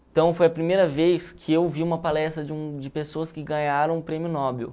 Então, foi a primeira vez que eu vi uma palestra de um de pessoas que ganharam um prêmio Nobel.